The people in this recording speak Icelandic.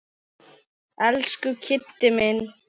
Elsku Kiddi minn.